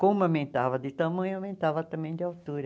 Como aumentava de tamanho, aumentava também de altura.